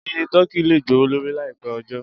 Iye tọ́kì lè gbowó lórí láì pẹ́ ọjọ́.